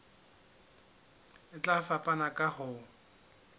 e tla fapana ka ho